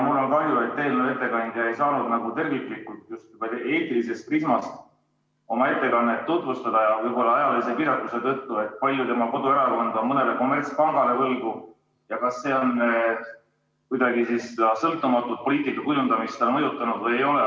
Mul on kahju, et eelnõu ettekandja ei saanud nagu terviklikult eetilisest prismast oma ettekandes tutvustada, võib-olla ajalise piiratuse tõttu, kui palju tema koduerakond on mõnele kommertspangale võlgu ja kas see on kuidagiviisi seda sõltumatut poliitika kujundamist mõjutanud või ei ole.